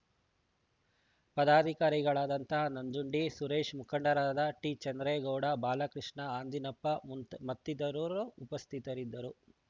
ಪದಾಧಿಕಾರಿಗಳಾದ ನಂಜುಂಡಿ ಸುರೇಶ್‌ ಮುಖಂಡರಾದ ಟಿ ಚಂದ್ರೇಗೌಡ ಬಾಲಕೃಷ್ಣ ಆಂಜಿನಪ್ಪ ಮತ್ತಿತರರು ಉಪಸ್ಥಿತರಿದ್ದರು